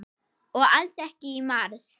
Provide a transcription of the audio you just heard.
Og alls ekki í mars.